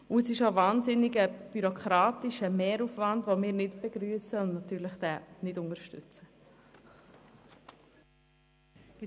Es handelt sich auch um einen bürokratischen Mehraufwand, welchen wir nicht begrüssen und somit nicht unterstützen.